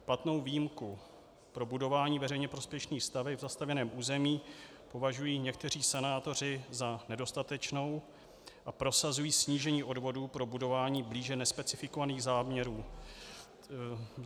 Platnou výjimku pro budování veřejně prospěšných staveb v zastavěném území považují někteří senátoři za nedostatečnou a prosazují snížení odvodu pro budování blíže nespecifikovaných záměrů.